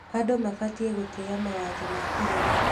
Andũ mabatiĩ gũtĩa mawatho ma bũrũri.